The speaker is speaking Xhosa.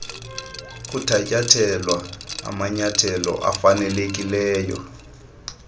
kuthatyathelwa amanyathelo afanelekileyo